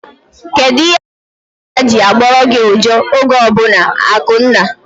Kedụ ihe mere nkịtaa ji agboru gị uja oge ọbụla? Akunna